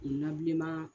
Nabilenman